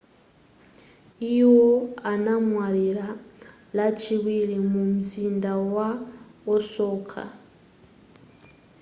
iwo anamwalira lachiwiri mu mzinda wa osaka